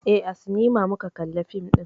Eh, a sinima muka kalla fim ɗin.